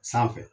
Sanfɛ